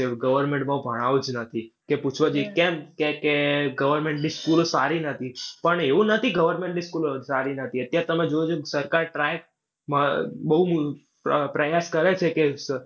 Government માં ભણાવો જ નથી. જો પૂછવા જઈએ કે કેમ, કેકે government ની school સારી નથી. પણ એવું નથી કે government ની school ઓ સારી નથી. અત્યાર તમે જોવા જાવ તો સરકાર try, અમ બઉ પ્રયાસ કરે છે કે